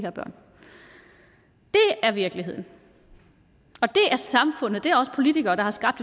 er virkeligheden og samfundet det er os politikere der har skabt